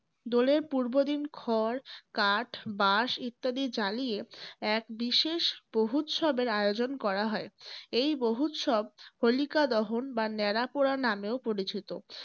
দোলের পূর্বদিন খড়, কাঠ, বাঁশ ইত্যাদি জ্বালিয়ে এক বিশেষ বহ্নুৎসবের আয়োজন করা হয়। এই বহ্নুৎসব হোলিকাদহন বা ন্যাড়া পোড়া নামেও পরিচিত।